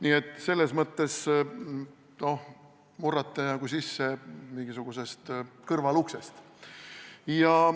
Nii et selles mõttes murrate nagu sisse mingisugusest kõrvaluksest.